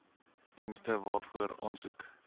dienste waarvoor aansoek